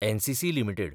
NCC limited